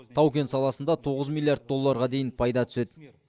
тау кен саласында тоғыз миллиард долларға дейін пайда түседі